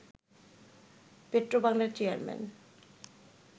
petro বাংলার chairman